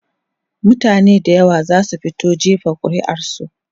mutane da yawa zasu fito jefa ƙuri'ar su